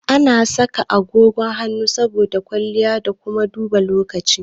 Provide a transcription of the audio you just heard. Ana saka agogon hannu saboda kwalliya da kuma duba lokaci.